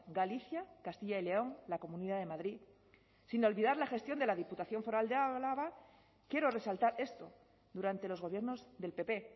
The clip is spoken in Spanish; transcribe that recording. galicia castilla y león la comunidad de madrid sin olvidar la gestión de la diputación foral de álava quiero resaltar esto durante los gobiernos del pp